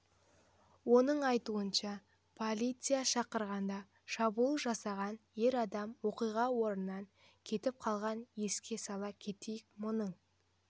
оның айтуынша полиция шақырғанда шабуыл жасаған ер адам оқиға орнынан кетіп қалған еске сала кетейік мұның